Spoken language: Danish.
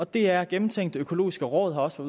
det er gennemtænkt det økologiske råd har også